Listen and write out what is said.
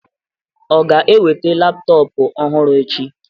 O ga-eweta laptọọpụ ọhụrụ echi?